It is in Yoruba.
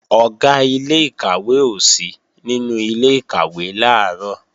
Ọ̀gá ilé-ìkàwé ò sí nínú ilé-ìkàwé làárọ̀